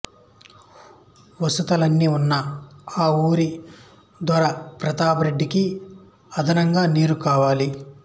వసతులన్నీ ఉన్నా ఆ ఊరి దొర ప్రతాపరెడ్డికి అదనంగా నీరు కావాలి